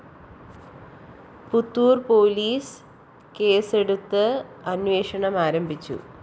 Puthur‍ police കേസെടുത്ത് അന്വേഷണം ആരംഭിച്ചു